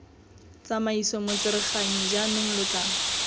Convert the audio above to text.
tsamaiso motsereganyi jaanong lo tla